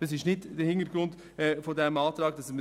die entsprechenden Instrumente gibt es bereits.